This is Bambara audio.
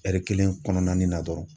kelen kɔnɔnanin dɔrɔn.